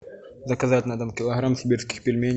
заказать на дом килограмм сибирских пельменей